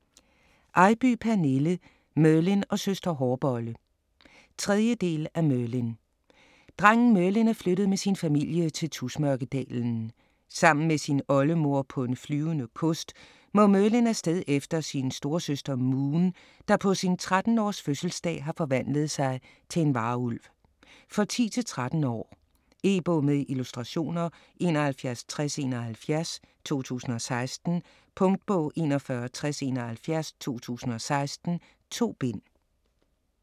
Eybye, Pernille: Merlin og søster hårbolle 3. del af Merlin. Drengen Merlin er flyttet med sin familie til Tusmørkedalen. Sammen med sin oldemor på en flyvende kost må Merlin afsted efter sin storesøster Moon, der på sin 13 års fødselsdag har forvandlet sig til en varulv. For 10-13 år. E-bog med illustrationer 716071 2016. Punktbog 416071 2016. 2 bind.